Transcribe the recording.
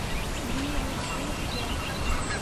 бирюсинске